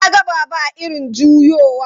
E, na ga Baba a irin juyowa.